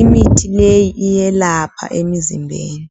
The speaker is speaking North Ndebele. imithi leyi iyelapha emzimbeni.